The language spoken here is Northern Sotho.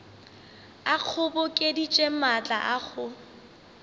a kgobokeditše maatla a go